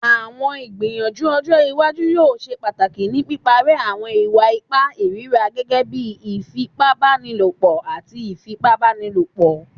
Awọn igbiyanju ojo iwaju yoo ṣe pataki ni piparẹ awọn iwa-ipa irira gẹgẹbi ifipabanilopo ati ifipabanilopo